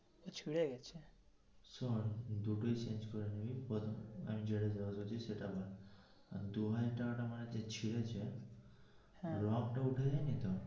শোন্ দুটোই change করে নিবি আমি যেটা আছি সেটা রাখ দু হাজারটা যে ছিঁড়েছে রং টা উঠে যায়নি তো,